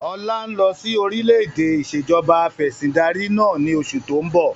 Ọlá ń lọ síí orílẹ̀-èdẹ̀ ìsèjọba afẹ̀sindarí náà ni oṣù to ń bọ̀